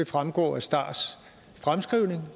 fremgår af stars fremskrivning